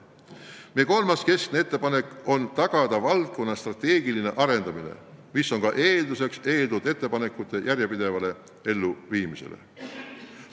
Meie kolmas keskne ettepanek on tagada valdkonna strateegiline arendamine, mis on ka eelduseks eeltoodud ettepanekute järjepidevale elluviimisele.